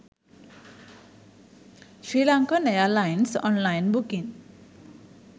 srilankan airlines online booking